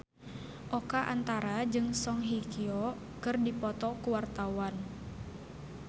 Oka Antara jeung Song Hye Kyo keur dipoto ku wartawan